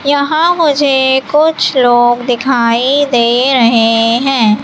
यहां मुझे कुछ लोग दिखाई दे रहे हैं।